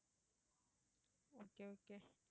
okay okay